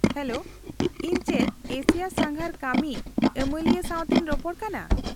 -Hello, ᱤᱧ ᱪᱮᱫ Asia ᱥᱟᱸᱜᱷᱟᱨ ᱠᱟᱹᱢᱤ ᱟᱹᱢᱟᱹᱞᱤᱭᱟᱹ ᱥᱟᱶᱛᱮᱧ ᱨᱚᱯᱚᱲ ᱠᱟᱱᱟ ?